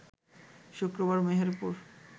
শুক্রবার মেহেরপুর